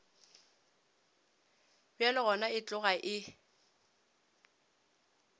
bjalo gona e tloga e